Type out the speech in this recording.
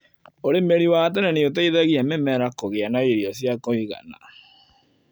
ũrĩmĩri wa tene nĩũteithagia mĩmera kũgĩa na irio cia kũigana.